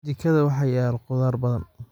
Jikada waxaa yaal khudaar badan.